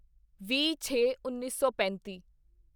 ਵੀਹਛੇਉੱਨੀ ਸੌ ਪੈਂਤੀ